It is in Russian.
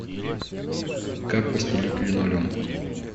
как постелить линолеум